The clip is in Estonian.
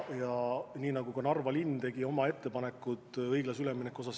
Ja nii tegi ka Narva linn oma ettepanekud õiglase ülemineku fondi kasutamise kohta.